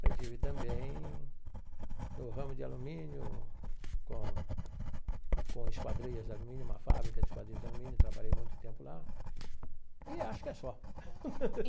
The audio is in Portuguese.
Mas estive também no ramo de alumínio com com esquadrias de alumínio, uma fábrica de esquadrias de alumínio, trabalhei muito tempo lá e acho que é só.